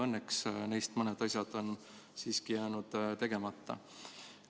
Õnneks on mõned asjad neist siiski jäänud tegemata.